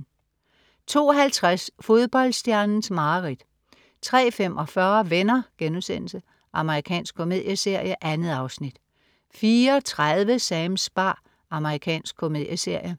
02.50 Fodboldstjernens mareridt 03.45 Venner.* Amerikansk komedieserie. 2 afsnit 04.30 Sams bar. Amerikansk komedieserie